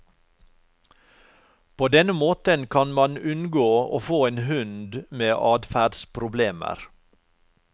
På denne måten kan man unngå å få en hund med adferdsproblemer.